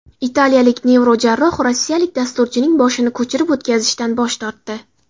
Italiyalik neyrojarroh rossiyalik dasturchining boshini ko‘chirib o‘tkazishdan bosh tortdi.